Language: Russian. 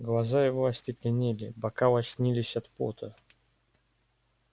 глаза его остекленели бока лоснились от пота